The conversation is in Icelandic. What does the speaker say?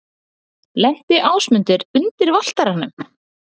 Lenti Ásmundur undir Valtaranum?